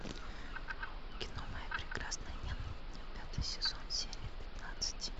кино моя прекрасная няня пятый сезон серия пятнадцать